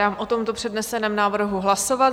Dám o tomto předneseném návrhu hlasovat.